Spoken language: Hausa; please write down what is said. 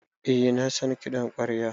Eh na san kiɗan ƙwarya.